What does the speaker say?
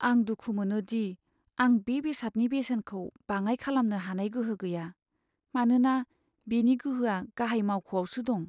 आं दुखु मोनो दि आं बे बेसादनि बेसेनखौ बाङाइ खालामनो हानाय गोहो गैया, मानोना बेनि गोहोआ गाहाय मावख'आवसो दं।